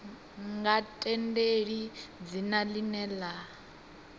nga tendeli dzina ḽine ḽa